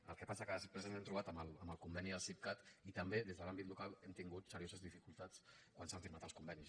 el que passa que després ens hem trobat amb el conveni del sipcat i també des de l’àmbit local hem tingut serioses dificultats quan s’han firmat els convenis